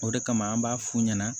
O de kama an b'a f'u ɲɛna